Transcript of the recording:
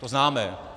To známe.